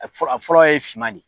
A fɔlɔ ye finman de ye.